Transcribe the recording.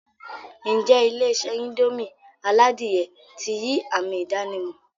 N jẹ́ Ilé-isé indomie aládìyẹ ti yii ami ìdànímò